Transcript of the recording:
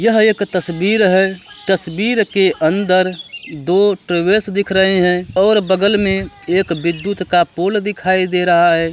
ये एक तस्बीर है तस्बीर के अंदर दिख रहे है और बगल मे एक विद्युत् का पोल दिखाई दे रहा है।